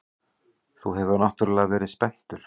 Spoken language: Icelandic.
Þú hefur náttúrlega verið spenntur.